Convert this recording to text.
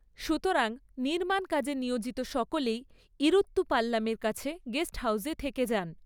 সুতরাং, নির্মাণ কাজে নিয়োজিত সকলেই ইরুত্তু পাল্লামের কাছে গেস্ট হাউজে থেকে যান।